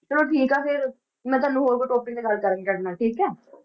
ਚਲੋ ਠੀਕ ਆ ਫਿਰ ਮੈਂ ਤੁਹਾਨੂੰ ਹੋਰ ਕੋਈ topic ਤੇ ਗੱਲ ਕਰਾਂਗੀ ਤੁਹਾਡੇ ਨਾਲ ਠੀਕ ਹੈ